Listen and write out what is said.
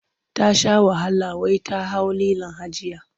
Ta sha wahala wai ta hau lilon hajijiya.